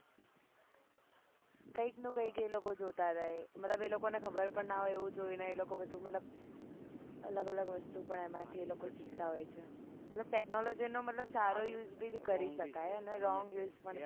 કઈ ક ન કઈ એ લોકો જોતા રહે મતલબ એ લોકો ન ખબર પણ ના હોય એવું જોઈ ને મતલબ અલગ અલગ વસ્તુ પણ એમાં થી શીખતા હોય છે મતલબ technology નો મતલબ સારો use બી કરીસકાય અને wrong use બી